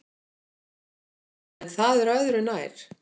En það er öðru nær!